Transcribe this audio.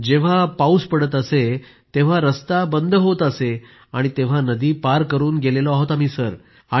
जेव्हा पाऊस पडत असे तेव्हा रस्ता बंद होत असे आणि तेव्हा नदी पार करून गेलो आहोत आम्ही सर